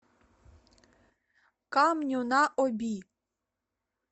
камню на оби